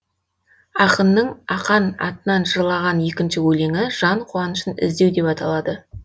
ақынның ақан атынан жырлаған екінші өлеңі жан қуанышын іздеу деп аталады